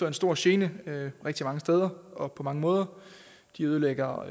en stor gene rigtig mange steder og på mange måder de ødelægger